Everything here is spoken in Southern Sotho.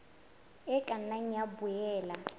e ka nna ya boela